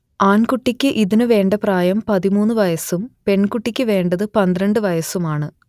ആൺകുട്ടിക്ക് ഇതിനു വേണ്ട പ്രായം പതിമൂന്ന് വയസ്സും പെൺകുട്ടിക്കു വേണ്ടത് പന്ത്രണ്ട് വയസ്സുമാണ്